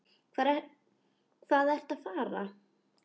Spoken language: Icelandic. Hvað ertu að fara?